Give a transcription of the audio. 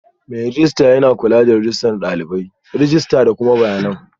Mai rejista yana kula da shigar dalibai, rajista da kuma bayanan